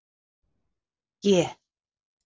G